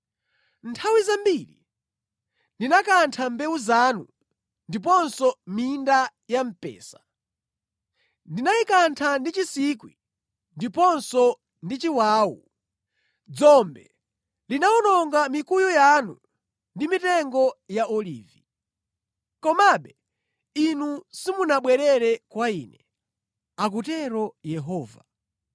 “Nthawi zambiri ndinakantha mbewu zanu ndiponso minda ya mpesa, ndinayikantha ndi chinsikwi ndiponso ndi chiwawu. Dzombe linawononga mikuyu yanu ndi mitengo ya olivi. Komabe inu simunabwerere kwa Ine,” akutero Yehova.